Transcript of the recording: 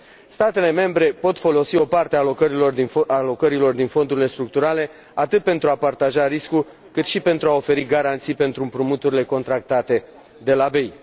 Statele membre pot folosi o parte a alocărilor din fondurile structurale atât pentru a partaja riscul, cât și pentru a oferi garanții pentru împrumuturile contractate de la BEI.